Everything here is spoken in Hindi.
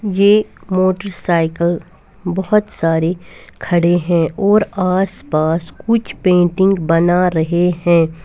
ये मोटर साइकिल बहुत सारे खड़े है और आस पास कुछ पेंटिंग बना रहे है।